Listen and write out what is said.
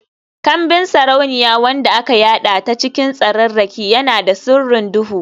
Kambin sarauniya wanda aka yada ta cikin tsararraki, yana da sirrin duhu.